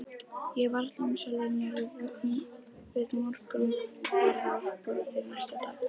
Ég var varla með sjálfri mér við morgunverðarborðið næsta dag.